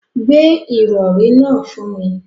Gbé ìrọ̀rí náà fún mi.